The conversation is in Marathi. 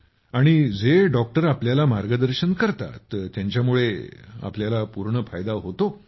आणि जे डॉक्टर आपल्याला मार्गदर्शन करतात त्यांच्यामुळे आपल्याला पूर्ण फायदा होतो